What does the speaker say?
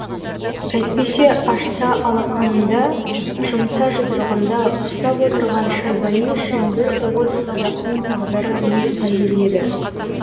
әйтпесе ашса алақанында жұмса жұдырығында ұстап отырған шайбани үшін бір уыс қазақтың тағдыры не тәйір еді